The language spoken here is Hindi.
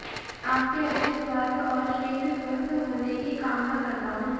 आपके अच्छे स्वास्थ्य और शीघ्र स्वस्थ होने की कामना करता हूं